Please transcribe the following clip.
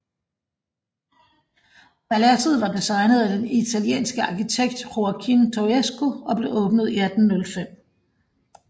Paladset var designet af den italienske arkitekt Joaquín Toesca og blev åbnet i 1805